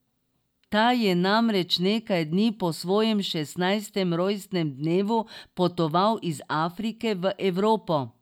Ta je namreč nekaj dni po svojem šestnajstem rojstnemu dnevu potoval iz Afrike v Evropo.